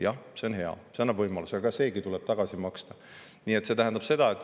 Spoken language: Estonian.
Jah, see on hea, see annab võimaluse, aga see tuleb tagasi maksta.